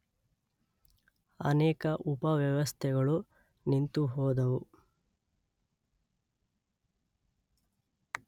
ಅನೇಕ ಉಪ ವ್ಯವಸ್ಥೆಗಳು ನಿಂತುಹೋದವು.